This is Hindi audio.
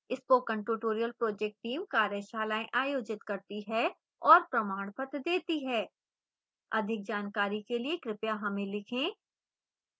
spoken tutorial project team कार्यशालाएँ आयोजित करती है और प्रमाणपत्र देती है